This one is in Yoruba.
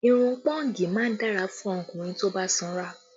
Irun pọ́ǹgì má ń dára fún ọkùnrin tó bá sanra